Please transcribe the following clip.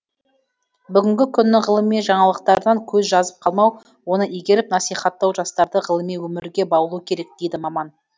бүгінгі күннің ғылыми жаңалықтарынан көз жазып қалмау оны игеріп насихаттау жастарды ғылыми өмірге баулу керек дейді маман